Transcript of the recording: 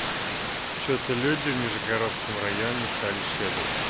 что-то люди в нижегородском районе стали щедрыми